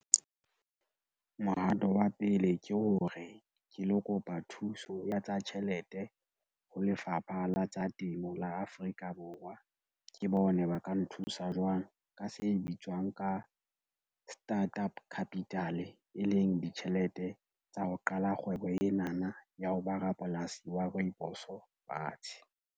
Mohato wa pele ke hore, ke lo kopa thuso ya tsa tjhelete ho Lefapha la tsa Temo la Afrika Borwa, ke bone ba ka nthusa jwang ka se bitswang ka start-up capital, e leng ditjhelete tsa ho qala kgwebo ena na ya ho ba rapolasi wa rooibos fatshe.